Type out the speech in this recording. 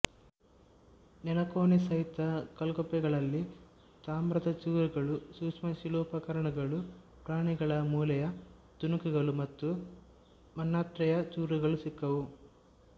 ನೆಲಕೋಣೆ ಸಹಿತ ಕಲ್ಗುಪ್ಪೆಗಳಲ್ಲಿ ತಾಮ್ರದ ಚೂರುಗಳು ಸೂಕ್ಷ್ಮಶಿಲೋಪಕರಣಗಳು ಪ್ರಾಣಿಗಳ ಮೂಳೆಯ ತುಣುಕುಗಳು ಮತ್ತು ಮಣ್ಪಾತ್ರೆಯ ಚೂರುಗಳು ಸಿಕ್ಕವು